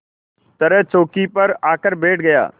तरह चौकी पर आकर बैठ गया